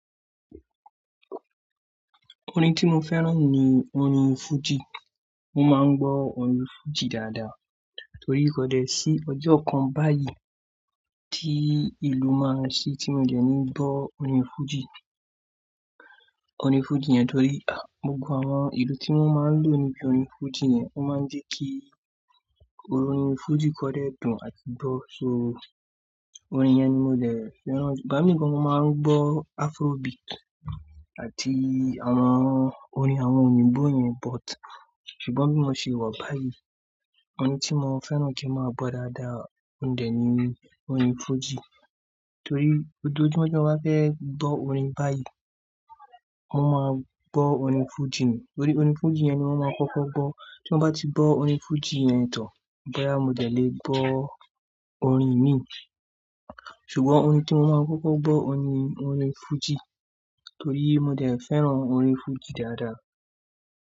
Orin tí mo fẹ́ràn ni orin fújì. Mo máa ń gbọ́ orin fújì dáadáa torí kódè sí ọjọ́ kan báyìí tí ìlú máa se tí mo dẹ̀ ní gbọ́ orin fújì. Orin fújì yẹn torí, ah, gbogbo àwọn ìlú tí wọ́n máa ń lò níbi orin fújì yẹn o máa ń jẹ́ kí orin fújì gan dé dùn àti gbọ́. So orin yẹn ni mo jẹ̀ fẹ́ràn. Igba mi gan mo máa ń gbọ́ Afrobeat àti àwọn orin àwọn òyìnbó yẹn but ṣùgbọ́n bí mo ṣe wa báyìí, orin tí mo fẹ́ràn kí ń máa gbọ́ dáadáa òun dẹ̀ ni orin fújì. Torí ojoojúmọ́ tí mo bá fẹ́ gbọ́ orin báyìí, mo máa gbọ́ orin fújì ni. Torí orin fújì yẹn ni mo máa kọ́kọ́ gbọ́. Tí wọ́n bá ti gbọ́ orin fújì yẹn tán, bo yá mo dẹ̀ lè gbọ́ orin mí. Ṣùgbọ́n orin tí mo máa kọ́kọ́ gbọ́ ohun ni orin fújì torí mo de fẹ́ràn orin fújì dáadáa.